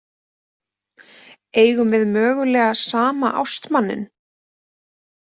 Eigum við mögulega sama ástmanninn?